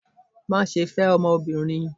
Maṣe fẹ ọmọbirin!